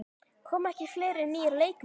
Koma ekki fleiri nýir leikmenn?